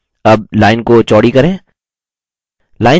अब line को चौड़ी करें